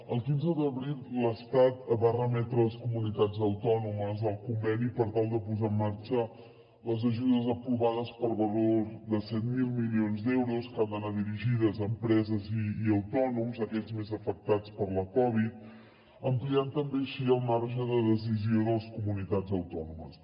el quinze d’abril l’estat va remetre a les comunitats autònomes el conveni per tal de posar en marxa les ajudes aprovades per valor de set mil milions d’euros que han d’anar dirigides a empreses i autònoms aquells més afectats per la covid ampliant també així el marge de decisió de les comunitats autònomes